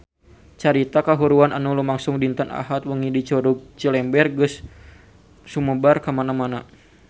Carita kahuruan anu lumangsung dinten Ahad wengi di Curug Cilember geus sumebar kamana-mana